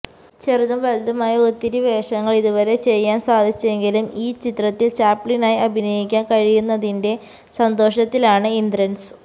ചെറുതും വലുതുമായ ഒത്തിരി വേഷങ്ങള് ഇതുവരെ ചെയ്യാന് സാധിച്ചെങ്കിലും ഈ ചിത്രത്തില് ചാപ്ലിനായി അഭിനയിക്കാന് കഴിയുന്നതിന്റെ സന്തോഷത്തിലാണ് ഇന്ദ്രന്സ്